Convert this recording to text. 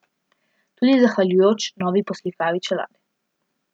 Tudi zahvaljujoč novi poslikavi čelade.